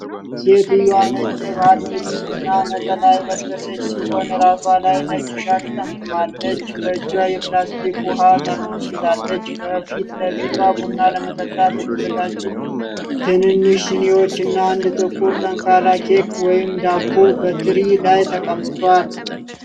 ሴትየዋ ነጭ የባህል ልብስ እና ነጠላ የለበሰች ሲሆን፣ ራሷ ላይ ነጭ ሻሽ ጠምጥማለች። በእጇ የፕላስቲክ ውኃ ጠርሙስ ይዛለች። ከፊት ለፊቷ ቡና ለመጠጣት የተዘጋጁ ትንንሽ ሲኒዎች እና አንድ ጥቁር ጠንካራ ኬክ (ወይንም ዳቦ) በትሪ ላይ ተቀምጠዋል።